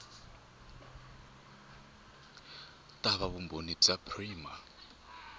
ta va vumbhoni bya prima